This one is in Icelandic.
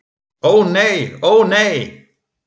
Ó nei, ó nei!